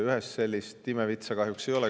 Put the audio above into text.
Ühest imevitsa kahjuks ei ole.